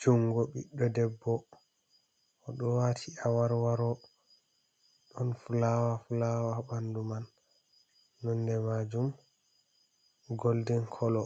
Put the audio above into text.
Jungo ɓiɗɗo debbo, oɗo waati aworworo, ɗon fulawa-fulawa ha ɓandu man nonde man bo goldin kolo,